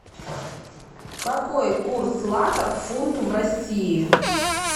какой курс лата к фунту в россии